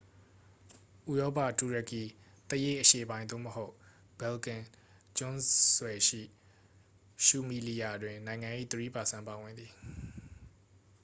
ဥရောပ တူရကီ သရေ့ အရှေ့ပိုင်း သို့မဟုတ် ဘယ်လ်ကန် ကျွန်းဆွယ်ရှိ ရူမီလီယာ တွင် နိုင်ငံ၏ ၃% ပါဝင်သည်။